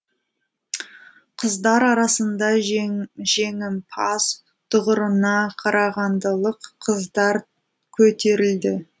қыздар арасында жеңімпаз тұғырына қарағандылық қыздар көтерілді